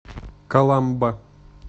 каламба